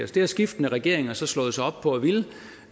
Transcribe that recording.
det har skiftende regeringer slået sig op på